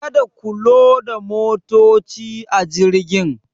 Ka da ku loda motaci a jirgin.